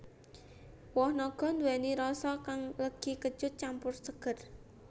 Woh naga nduwèni rasa kang legi kecut campur seger